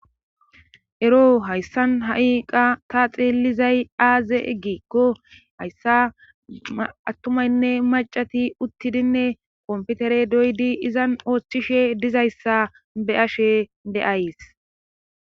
ero hayssan ha7i qa ta xillizay aaze eggikko hayssa attumaynne macati uttidinne komputere doydi izan oochchishe dizayssa be ashe de7ays